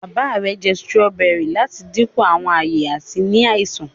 bàbá rẹ njẹ Sírọ́bẹ́rì lati dínkù Àwọn aye àti ní àìsàn.